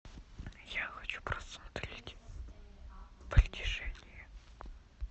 я хочу посмотреть притяжение